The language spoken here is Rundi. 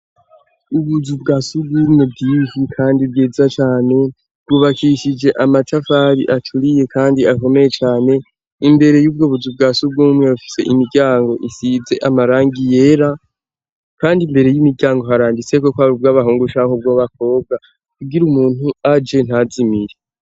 Ubuzu bwa sugumwe bwinshi kandi bwiza cyane, bwubakishije amatafari acuriye kandi akomeye cyane imbere y'ubwo buzu bwa sugumwe bafise imiryango isibze amarangi yera kandi imbere y'imiryango harangise ko ko aber ubw'abahungshanko bwo bakobwa ubgira umuntu aj ntazimire.